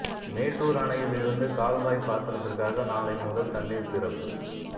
மேட்டூர் அணையில் இருந்து கால்வாய் பாசனத்திற்காக நாளை முதல் தண்ணீர் திறப்பு